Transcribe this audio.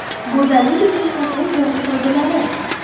Go‘zallik uchun kokos yog‘i foydalari.